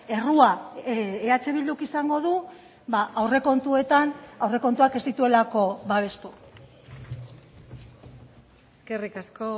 errua eh bilduk izango du aurrekontuetan aurrekontuak ez dituelako babestu eskerrik asko